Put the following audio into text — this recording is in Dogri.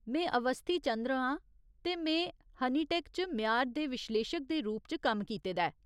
में अवस्थी चंद्र आं ते में हनीटेक च म्यार दे विश्लेशक दे रूप च कम्म कीते दा ऐ।